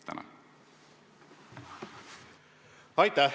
Aitäh!